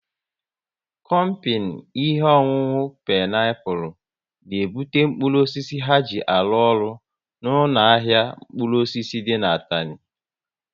Kompini ihe ọṅụṅụ Peniapụl n'ebute mkpụrụ osisi ha ji arụ ọrụ n' ahịa mkpụrụ osisi dị n' Atani